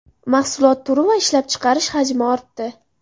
Mahsulot turi va ishlab chiqarish hajmi ortdi.